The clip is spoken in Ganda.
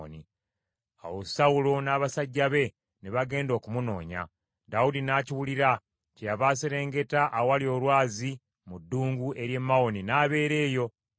Awo Sawulo n’abasajja be ne bagenda okumunoonya. Dawudi n’akiwulira, kyeyava aserengeta awali olwazi mu ddungu ery’e Mawoni n’abeera eyo. Sawulo bwe yakiwulira n’agenda mu ddungu ery’e Mawoni okumunoonya.